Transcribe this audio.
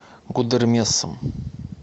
гудермесом